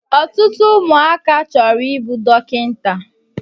Ọtụtụ ụmụaka chọrọ I bụ dọkịta